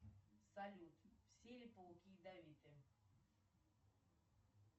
салют все ли пауки ядовиты